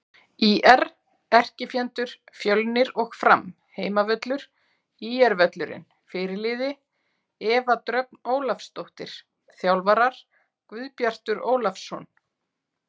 ÍR: Erkifjendur: Fjölnir og Fram Heimavöllur: ÍR-völlurinn Fyrirliði: Eva Dröfn Ólafsdóttir Þjálfarar: Guðbjartur Ólafsson